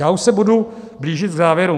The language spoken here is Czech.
Já už se budu blížit k závěru.